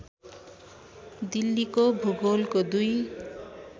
दिल्लीको भूगोलको दुई